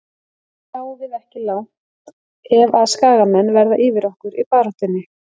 Hinsvegar náum við ekki langt ef að skagamenn verða yfir okkur í baráttunni.